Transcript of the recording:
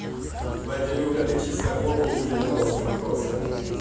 ебать илюха ты чисто гопник девяностых просто